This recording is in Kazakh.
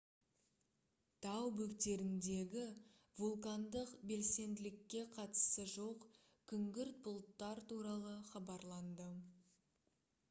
тау бөктеріндегі вулкандық белсенділікке қатысы жоқ күңгірт бұлттар туралы хабарланды